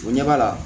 O ɲɛ b'a la